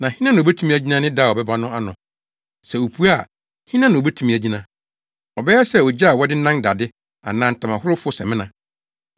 Na hena na obetumi agyina ne da a ɔbɛba no ano? Sɛ opue a, hena na obetumi agyina? Ɔbɛyɛ sɛ ogya a wɔde nan dade anaa ntamahorofo samina.